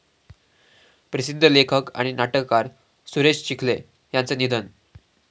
प्रसिद्ध लेखक आणि नाटककार सुरेश चिखले यांचं निधन